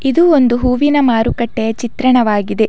ಇದು ಒಂದು ಹೂವಿನ ಮಾರುಕಟ್ಟೆಯ ಚಿತ್ರಣವಾಗಿದೆ.